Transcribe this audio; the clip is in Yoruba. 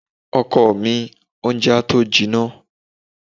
Ọkọ mi, oúnjẹ á tó jinná.